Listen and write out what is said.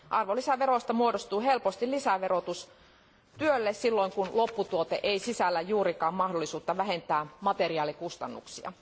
Arvonlisäveroista muodostuu helposti lisäverotus työlle, silloin kun lopputuote ei sisällä juurikaan mahdollisuutta vähentää materiaalikustannuksia.